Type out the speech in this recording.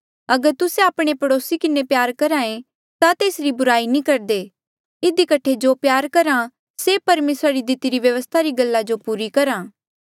अगर तुस्से आपणे पड़ोसी किन्हें प्यार करहे ता तेसरी बुराई नी करदे इधी कठे जो प्यार करहा से परमेसरा री दितिरी व्यवस्था री गल्ला जो पूरी करहा